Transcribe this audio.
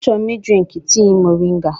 Achọrọ m ị drinkụ tii moringa.